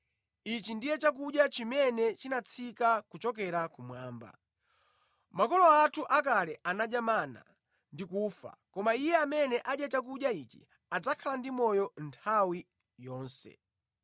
Ichi ndiye chakudya chimene chinatsika kuchokera kumwamba. Makolo athu akale anadya mana ndi kufa, koma iye amene adya chakudya ichi, adzakhala ndi moyo nthawi yonse.”